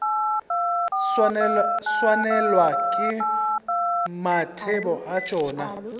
swanelwa ke mathebo a tšona